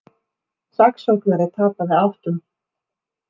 Saksóknari tapað áttum